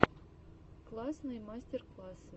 классные мастер классы